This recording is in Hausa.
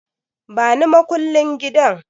Bani makullin gidan